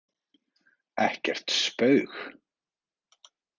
Ekkert spaug